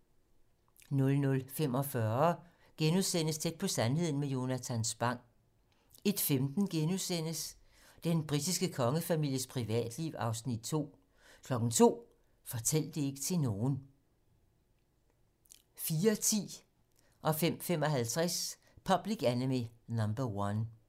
00:45: Tæt på sandheden med Jonatan Spang * 01:15: Den britiske kongefamilies privatliv (Afs. 2)* 02:00: Fortæl det ikke til nogen 04:10: Public Enemy No 1 05:55: Public Enemy No. 1